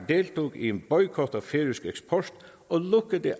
deltog i en boykot af færøsk eksport